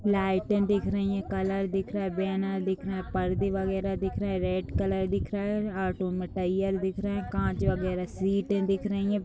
लाइटे दिख रही है | कलर दिख रहे है | बैनर दिख रहे हैं | पर्दे बगैरह दिख रहे हैं | रेड कलर दिख रहा है | ऑटो मटियल दिख रहा है | कांच बगैरह सीटे दिख रही हैं ।